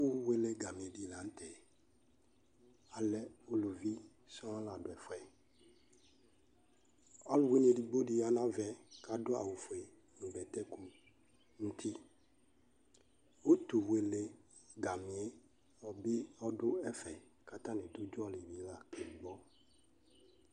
Ɛfʋwele ɛgami dɩ la nʋ tɛ Alɛ uluvi sɔŋ la dʋ ɛdʋ ɛfʋ yɛ Ɔlʋwɩnɩ edigbo dɩ ya nʋ ava yɛ kʋ adʋ awʋfue nʋ bɛtɛku nʋ uti Utuwele ɛgami yɛ bɩ dʋ ɛfɛ kʋ atanɩ dʋ ʋdzɔ bɩ la kagbɔ